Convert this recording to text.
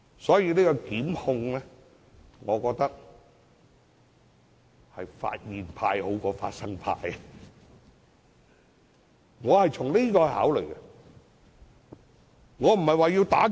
所以，我認為就檢控而言，"發現派"較"發生派"為佳，我是從這個角度考慮的。